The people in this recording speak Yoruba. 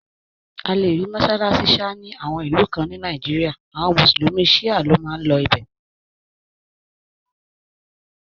A lè rí mọ́sálásí Sha ni àwọn ìlú kan ní Nàìjíríà, àwọn mùsùlùmí shia ló n máa lọ ibẹ̀